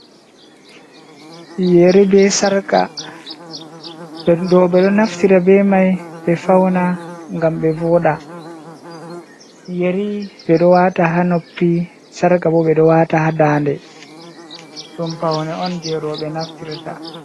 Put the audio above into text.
Yeri be sarka roɓɓe ɗo naftira be mai ɓe fauna gam ɓe voɗa, yeri ɓeɗo wata ha noppi sarka bo ɓe ɗo wata ha dande ɗum faune on je roɓɓe naftira ta.